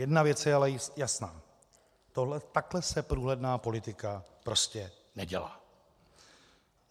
Jedna věc je ale jasná, takhle se průhledná politika prostě nedělá.